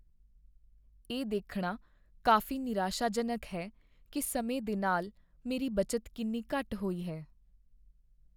ਇਹ ਦੇਖਣਾ ਕਾਫ਼ੀ ਨਿਰਾਸ਼ਾਜਨਕ ਹੈ ਕੀ ਸਮੇਂ ਦੇ ਨਾਲ ਮੇਰੀ ਬਚਤ ਕਿੰਨੀ ਘੱਟ ਹੋਈ ਹੈ।